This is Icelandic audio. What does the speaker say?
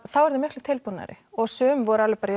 þá eru þau miklu tilbúnari og sum voru alveg bara